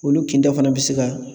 Olu kinda fana bɛ se ka